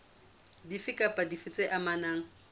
dife kapa dife tse amanang